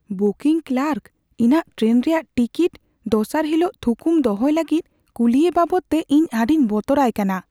Booking clerk ᱤᱧᱟᱜ train ᱨᱮᱭᱟᱜ ticket ᱫᱚᱥᱟᱨ ᱦᱤᱞᱳᱜ ᱛᱷᱩᱠᱩᱢ ᱫᱚᱦᱚᱭ ᱞᱟᱹᱜᱤᱫ ᱠᱩᱞᱤᱭᱮ ᱵᱟᱵᱚᱫᱛᱮ ᱤᱧ ᱟᱹᱰᱤᱧ ᱵᱚᱛᱚᱨᱟᱭ ᱠᱟᱱᱟ ᱾